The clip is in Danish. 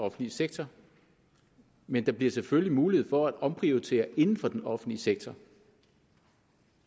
offentlige sektor men der bliver selvfølgelig mulighed for at omprioritere inden for den offentlige sektor